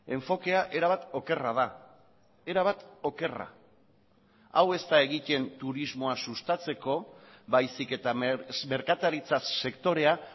enfokea erabat okerra da erabat okerra hau ez da egiten turismoa sustatzeko baizik eta merkataritza sektorea